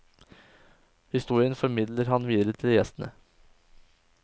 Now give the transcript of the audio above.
Historien formidler han videre til gjestene.